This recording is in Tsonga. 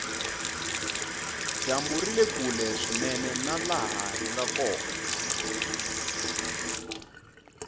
dyambu rile kule swinene na laha hinga kona